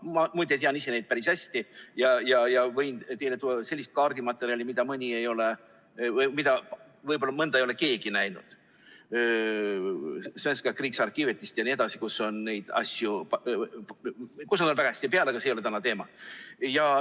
Ma muide tean ise neid päris hästi ja võin teile tuua sellist kaardimaterjali, millest mõnda ei ole võib-olla keegi näinud, Svenska Riksarkivet'ist jne, kus on neid asju, millel nad on väga hästi peal, aga see ei ole täna teema.